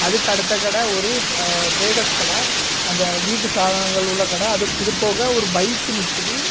அதுக்கு அடுத்த கட ஒரு டிரேடர்ஸ் கட அந்த வீட்டு சதானங்கள் உள்ள கட இதுபோக ஒரு பைக்கு நிக்கிது.